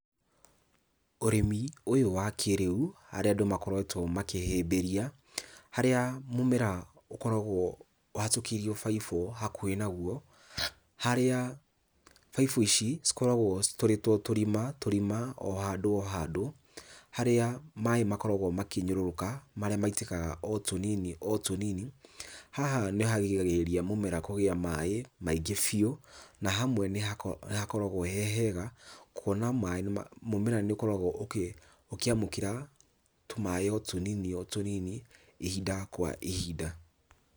Ũrĩmi ũyũ wa kĩrĩu, harĩa andũ makoretwo makĩhĩmbĩria, harĩa mũmera ũkoragwo ũhatũkĩirio baibũ hakuhĩ naguo. Harĩa baibũ ici cikoragwo citũrĩtwo tũrima tũrima o handũ o handũ. Harĩa maĩ makoragwo makĩnyũrũrũka marĩa maitĩkaga o tũnini o tũnini. Haha nĩharigagĩrĩria mũmera kũgĩa maĩ maingĩ biũ, na hamwe nĩhakoragwo he hega kuona maĩ, mũmera nĩũkoragwo ũkĩamũkĩra tũmaĩ o tũnini o tũnini ihinda kwa ihinda.